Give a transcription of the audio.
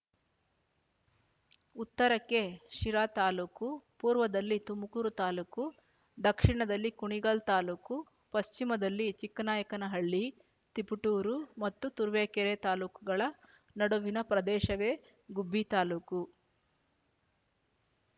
ಉತ್ತರಕ್ಕೆ ಶಿರಾ ತಾಲ್ಲೂಕು ಪೂರ್ವದಲ್ಲಿ ತುಮುಕೂರು ತಾಲ್ಲೂಕು ದಕ್ಷಿಣದಲ್ಲಿ ಕುಣಿಗಲ್ ತಾಲ್ಲೂಕು ಪಶ್ಚಿಮದಲ್ಲಿ ಚಿಕ್ಕನಾಯಕನಹಳ್ಳಿ ತಿಪಟೂರು ಮತ್ತು ತುರುವೇಕೆರೆ ತಾಲ್ಲೂಕುಗಳ ನಡುವಿನ ಪ್ರದೇಶವೇ ಗುಬ್ಬಿ ತಾಲ್ಲೂಕು